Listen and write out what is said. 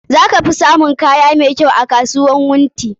Za ka fi samun kaya masu kyau a kasuwar Wunti.